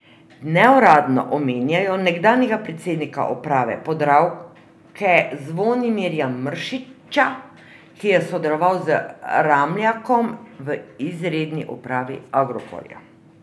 Neuradno omenjajo nekdanjega predsednika uprave Podravke Zvonimirja Mršića, ki je sodeloval z Ramljakom v izredni upravi Agrokorja.